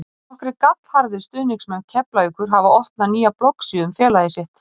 Nokkrir gallharðir stuðningsmenn Keflavíkur hafa opnað nýja bloggsíðu um félagið sitt.